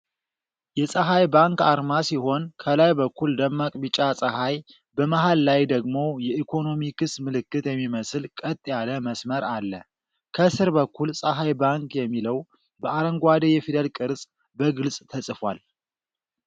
የጸሐይ ባንክ አርማ ሲሆን፣ ከላይ በኩል ደማቅ ቢጫ ጸሐይ፣ መሃል ላይ ደግሞ የኢኮኖሚክስ ምልክት የሚመስል ቀጥ ያለ መስመር አለ። ከስር በኩል "ፀሐይ ባንክ" የሚለው በአረንጓዴ የፊደል ቅርጽ በግልጽ ተጽፏል።